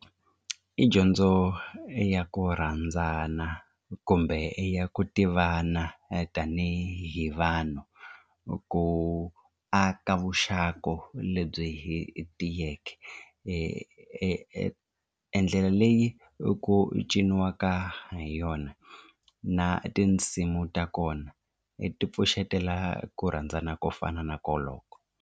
I dyondzo ya ku rhandzana kumbe ya ku tivana tanihi vanhu ku aka vuxaka lebyi hi tiyeke e ndlela leyi ku ciniwaka ha yona na tinsimu ta kona ti pfuxetela ku rhandzana ko fana na koloko.